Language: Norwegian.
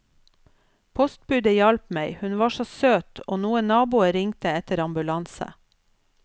Postbudet hjalp meg, hun var så søt, og noen naboer ringte etter ambulanse.